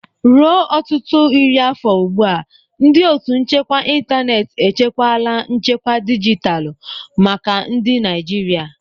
Ruo ọtụtụ iri afọ ugbu a, ndị ótù nchekwa ịntanetị echekwala nchekwa dijitalụ maka ndị Naijiria.